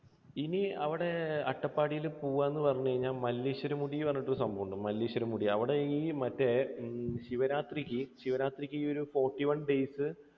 ഇനി അവിടെ അട്ടപ്പാടിയിൽ പോകുക എന്ന് പറഞ്ഞു കഴിഞ്ഞാൽ മല്ലേശ്വരമുടി എന്ന് പറഞ്ഞിട്ട് ഒരു സംഭവമുണ്ട്. മല്ലേശ്വര മുടി അവിടെ ഈ മറ്റേ ശിവരാത്രിക്ക് ശിവരാത്രിക്ക് ഈ ഒരു forty one days